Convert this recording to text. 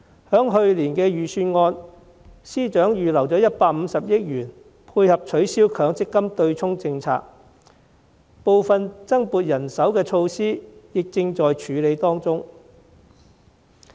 在去年的預算案，司長預留了150億元配合取消強積金對沖政策，部分增撥人手的措施亦正在處理當中。